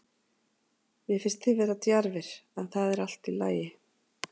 Mér finnst þið vera djarfir, en það er allt í lagi.